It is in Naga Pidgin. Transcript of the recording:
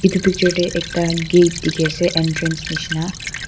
etu picture te gate dekhi ase entrance jisna.